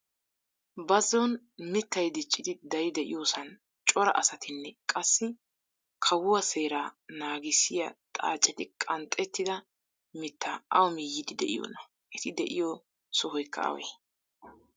Bazzon mittay diccidi dari de'iyoosan cora asatinne qassi kawuwaa seeraa nanggisiyaa xaacetti qanxettida mittaa awu miyiidi de'iyoonaa? eti de'iyoo sohoykka awee?